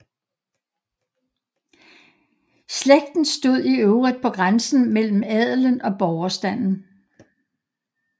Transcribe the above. Slægten stod i øvrigt på grænsen mellem adelen og borgerstanden